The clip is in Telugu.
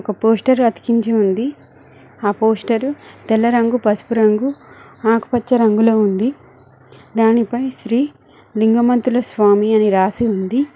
ఒక పోస్టర్ అతికించి ఉంది ఆ పోస్టరు తెల్ల రంగు పసుపు రంగు ఆకుపచ్చ రంగులో ఉంది దానిపై శ్రీ లింగమంతుల స్వామి అని రాసి ఉంది.